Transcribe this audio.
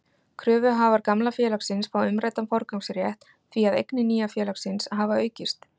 Kröfuhafar gamla félagsins fá umræddan forgangsrétt því að eignir nýja félagsins hafa aukist.